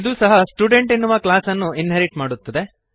ಇದೂ ಸಹ ಸ್ಟುಡೆಂಟ್ ಎನ್ನುವ ಕ್ಲಾಸ್ಅನ್ನು ಇನ್ಹೆರಿಟ್ ಮಾಡುತ್ತದೆ